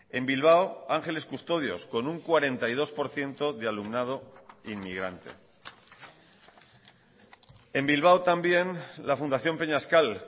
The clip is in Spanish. en bilbao ángeles custodios con un cuarenta y dos por ciento de alumnado inmigrante en bilbao también la fundación peñascal